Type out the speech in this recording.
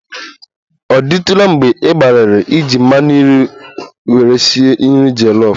Ọ dịtụla mgbe ị gbalịrị iji mmanụ nri were sie nri jollof?